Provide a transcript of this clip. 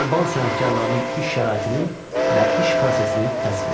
Alban sənətkarlarının iş şəraitini və iş prosesini təsvir edin.